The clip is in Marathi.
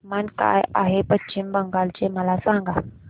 तापमान काय आहे पश्चिम बंगाल चे मला सांगा